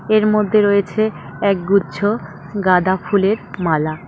এর মধ্যে রয়েছে একগুচ্ছ গাঁদা ফুলের মালা।